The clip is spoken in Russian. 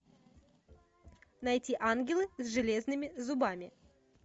найти ангелы с железными зубами